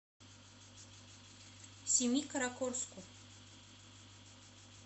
семикаракорску